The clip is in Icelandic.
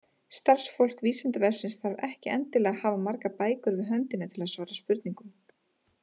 Starfsfólk Vísindavefsins þarf ekki endilega að hafa margar bækur við höndina til að svara spurningum.